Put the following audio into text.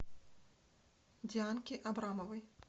дианки абрамовой